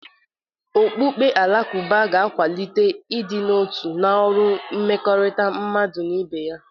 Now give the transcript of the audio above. Okpukpe Alakụba ga-akwalite ịdị n'otu na ọrụ mmekọrịta mmadụ na ibe ya.